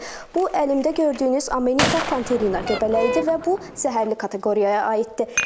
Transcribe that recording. Bu əlimdə gördüyünüz Amanita Pantherina göbələyidir və bu zəhərli kateqoriyaya aiddir.